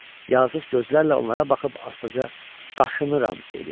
Yazıq gözlərlə onlara baxıb astaca qaşınıram, dedi.